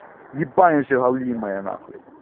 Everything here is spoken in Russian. непомнящая галимая н